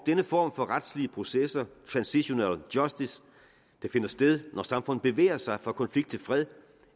denne form for retslige processer transitional justice der finder sted når samfund bevæger sig fra konflikt til fred